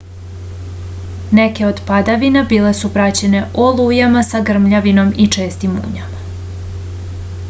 neke od padavina bile su praćene olujama sa grmljavinom i čestim munjama